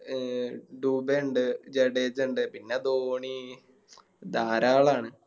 അഹ് ടുബാ ഇണ്ട് ജഡേജ ഇണ്ട് പിന്നെ ധോണി ധാരാളാണ്